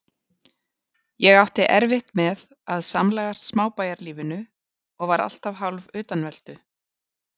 Ég átti erfitt með að samlagast smábæjarlífinu og var alltaf hálfutanveltu.